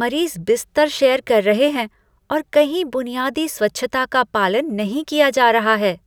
मरीज बिस्तर शेयर कर रहे हैं और कहीं बुनियादी स्वच्छता का पालन नहीं किया जा रहा है।